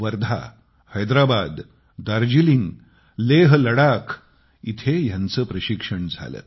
वर्धा हैद्राबाद दार्जिलिंग लेह लडाख इथे ह्यांचे प्रशिक्षण झाले